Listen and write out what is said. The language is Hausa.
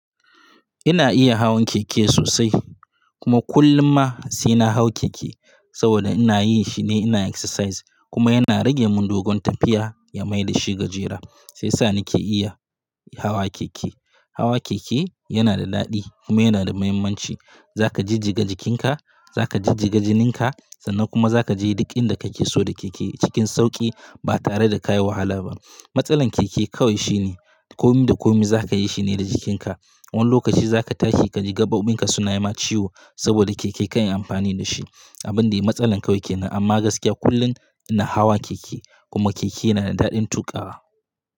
Ina iya hawan keke sosai. Kuma kullum ma sai na hau keke saboda ina yi shine, ina exercise kuma yana rage mun dogon tafiya ya maida shi gajera. Sai sa nake iya hawa keke. Hawa keke yana da daɗi kuma yana da muhimmanci. Za ka jijjiga jikinka, za ka jijjiga jininka sannan kuma za ka je duk inda kake so da keke cikin sauƙi ba tare da ka yi wahala ba. Matsalar keke kawai shine komi da komi za ka yi shine da jikinka. Wani lokaci za ka tashi ka ji gaɓoɓin ka suna yi ma ciwo saboda keke ka yi amfani da shi. Abun da dai matsala kawai kenan amma gaskiya kullum ina hawa keke, kuma keke yana da daɗin tuƙawa.